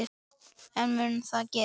En mun það gerast?